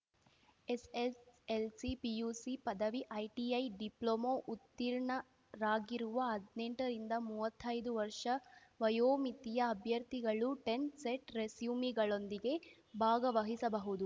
SSLC PUC ಪದವಿ ITI diploma ಉತ್ತೀರ್ಣರಾಗಿರುವ ಹದ್ನೆಂಟ ರಿಂದ ಮೂವತ್ತೈದು ವರ್ಷ ವಯೋಮಿತಿಯ ಅಭ್ಯರ್ಥಿಗಳು ಟೆನ್ ಸೆಟ್‌ ರೆಸ್ಯೂಮ್‌ಗಳೊಂದಿಗೆ ಭಾಗವಹಿಸಬಹುದು